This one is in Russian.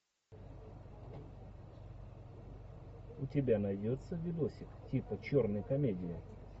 у тебя найдется видосик типа черной комедии